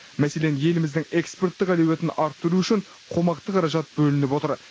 мәселен еліміздің экспорттық әлеуетін арттыру үшін қомақты қаражат бөлініп отыр